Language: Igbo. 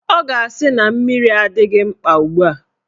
Ọ ga-asị na mmiri adịghị mkpa ugbua